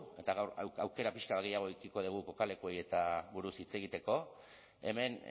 eta gaur aukera pixka bat gehiago edukiko dugu kokaleku horietaz buruz hitz egiteko hemen